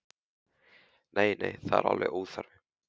Nei, nei, það er alveg óþarfi.